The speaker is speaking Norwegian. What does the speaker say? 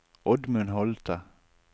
Oddmund Holte